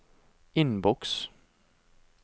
innboks